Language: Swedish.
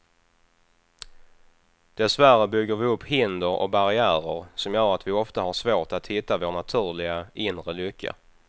Dessvärre bygger vi upp hinder och barriärer som gör att vi ofta har svårt att hitta vår naturliga, inre lycka.